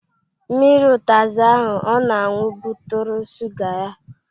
Mmiri utazi ahụ ọ na-anwụ bụtụrụ suga ya